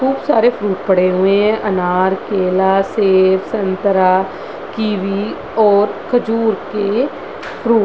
खूब सारे फ्रूट पड़े हुए हैं अनार केला सेव संतरा कीवी और खजूर के फ्रूट --